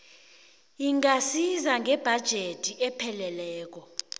ingasiza ngebhajethi epheleleko